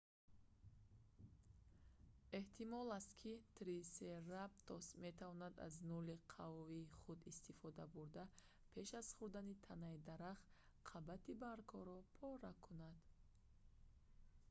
эҳтимол аст ки трисератопс метавонист аз нӯли қавии худ истифода бурда пеш аз хӯрдани танаи дарахт қабати баргҳоро пора кунад